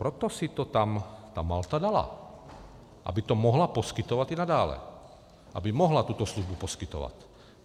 Proto si to tam ta Malta dala, aby to mohla poskytovat i nadále, aby mohla tuto službu poskytovat.